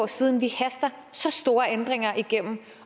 siden vi haster så store ændringer igennem